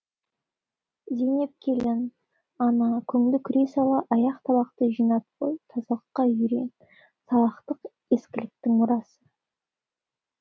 зейнеп келін ана көңді күрей сал аяқ табақты жинап қой тазалыққа үйрен салақтық ескіліктің мұрасы